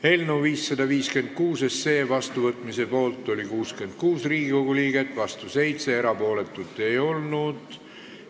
Hääletustulemused Eelnõu 556 vastuvõtmise poolt oli 66 Riigikogu liiget ja vastu 7, erapooletuid ei olnud.